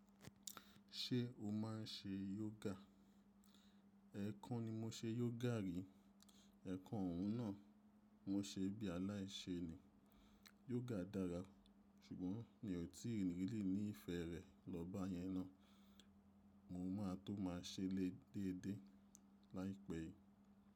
Ṣé o máa ń ṣe yoga? Ẹ̀ kan ni mo ṣe yoga rí, ẹ̀ kan òún náà mo ṣe bí aláìṣe ni. Yoga dára, ṣùgbọ́n mi ò tí really ní ìfẹ́ rẹ̀ lọ bá yẹn ná. Mo ma tó ma ṣelé déédé láìpẹ́ yìí.